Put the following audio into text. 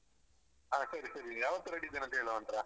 ಹಾ ಸರಿ ಸರಿ ಯಾವತ್ತು ready ಇದ್ದೇನೆ ಹೇಳು ಅವನತ್ರ.